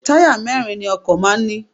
Táyà mẹ́ẹ́rin ni ọkọ̀ máà ń ní